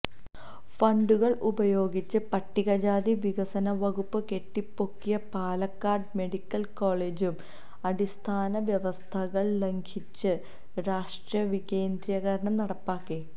ഫണ്ടുകള് ഉപയോഗിച്ച് പട്ടികജാതി വികസന വകുപ്പ് കെട്ടിപ്പൊക്കിയ പാലക്കാട് മെഡിക്കല് കോളേജും അടിസ്ഥാന വ്യവസ്ഥകള് ലംഘിച്ച് രാഷ്ട്രീയവികേന്ദ്രീകരണം നടപ്പാക്കി